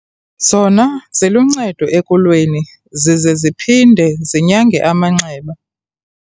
Zona ziluncedo ekulweni zize ziphinde zinyange amanxeba.